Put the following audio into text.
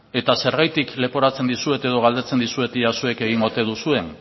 eta zergatik leporatzen dizuet edo galdetzen dizuet ia zuek egin ote duzuen